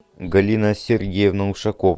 галина сергеевна ушакова